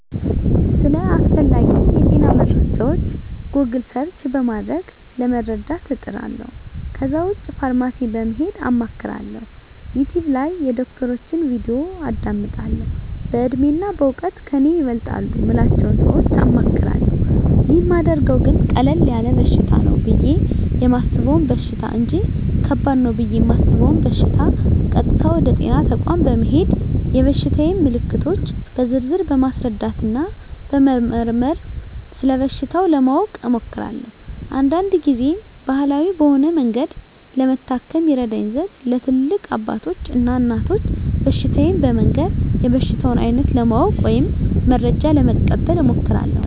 ስለ አስፈላጌ የጤና መረጃወች "ጎግል" ሰርች" በማድረግ ለመረዳት እጥራለሁ ከዛ ውጭ ፋርማሲ በመሄድ አማክራለሁ፣ "ዩቲውብ" ላይ የዶክተሮችን "ቪዲዮ" አዳምጣለሁ፣ በእድሜና በእውቀት ከኔ ይበልጣሉ ምላቸውን ሰወች አማክራለሁ። ይህን ማደርገው ግን ቀለል ያለ በሽታ ነው ብየ የማሰበውን በሽታ እንጅ ከባድ ነው ብየ እማስበውን በሸታ ቀጥታ ወደ ጤና ተቋም በመሄድ የበሽታየን ምልክቶች በዝርዝር በማስረዳትና በመመርመር ስለበሽታው ለማወቅ እሞክራለሁ። አንዳንድ ግዜም ባህላዊ በሆነ መንገድ ለመታከም ይረዳኝ ዘንድ ለትላልቅ አባቶች እና እናቶች በሽታየን በመንገር የበሽታውን አይነት ለማወቅ ወይም መረጃ ለመቀበል እሞክራለሁ።